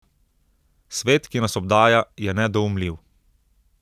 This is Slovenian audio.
Svet, ki nas obdaja, je nedoumljiv.